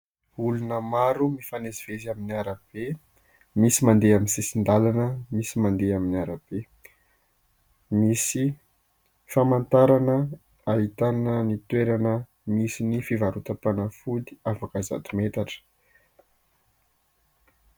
Olona maro mifamezivezy amin'ny arabe. Misy mandeha amin'ny sisin-dalana, misy mandeha amin'ny arabe. Misy famantarana ahitana ny toerana misy ny fivarotam-panafody afaka zato metatra.